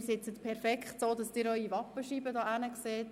Sie können gerade gegenüber ihre Wappenscheibe sehen.